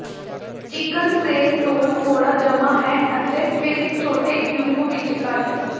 chicken ਸੇਰ ਤੋਲ ਥੋੜਾ ਜਮਾ ਹੈ ਅਤੇ ਫਿਰ ਛੋਟੇ ਕਿਊਬ ਵਿੱਚ ਕੱਟ